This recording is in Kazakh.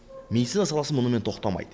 медицина саласы мұнымен тоқтамайды